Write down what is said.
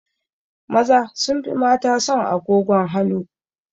Maza sun fi mata son agogon hanu